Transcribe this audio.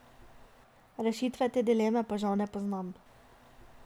Rešitve te dileme pa žal ne poznam.